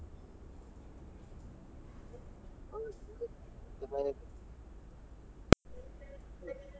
ಚೆನ್ನಾಗಿದ್ದಿ.